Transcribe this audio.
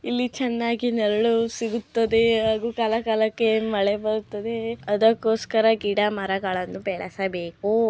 ಇಲ್ಲಿ ಚೆನ್ನಾಗಿ ನೆರಳು ಸಿಗುತ್ತದೆ ಹಾಗೂ ಕಾಲ ಕಾಲಕ್ಕೆ ಮಳೆ ಬರುತ್ತದೆ ಅದಕ್ಕೋಸ್ಕರ ಗಿಡ ಮರಗಳನ್ನು ಬೆಳೆಸಬೇಕು.